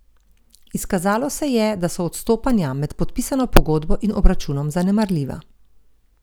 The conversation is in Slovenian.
Izkazalo se je, da so odstopanja med podpisano pogodbo in obračunom zanemarljiva.